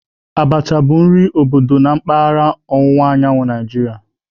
Abacha bụ nri obodo na mpaghara ọwụwa anyanwụ Naijiria